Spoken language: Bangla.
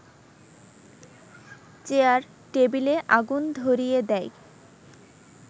চেয়ার টেবিলে আগুন ধরিয়ে দেয়